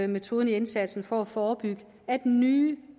metoden i indsatsen for at forebygge at nye